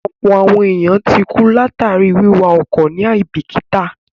Ọ̀pọ̀ àwọn èèyàn ti kú látàríi wíwa ọkọ̀ ní àíbìkítà